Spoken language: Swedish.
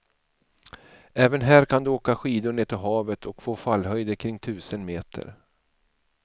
Även här kan du åka skidor ned till havet och få fallhöjder kring tusen meter.